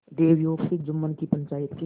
दैवयोग से जुम्मन की पंचायत के